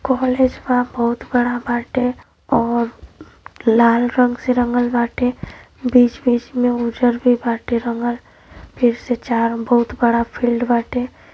College बा। बहुत बड़ा बाटे और लाल रंग से रंगल बाटे। बीच-बीच में उजर भी बाटे रंगल फिर से चार बहुत बड़ा फील्ड बाटे।